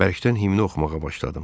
Bərkdən himni oxumağa başladım.